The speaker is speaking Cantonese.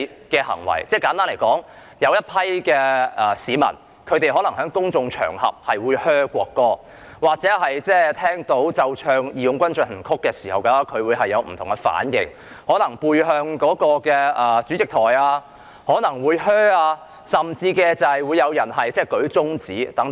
簡單而言，有一群市民可能在公眾場合對國歌喝倒采，聽到奏唱"義勇軍進行曲"時有不同的反應，可能背向主席台甚至舉起中指等。